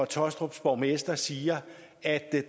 taastrups borgmester siger at